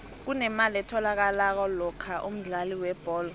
kunemali etholakalako lokha umdlali webholo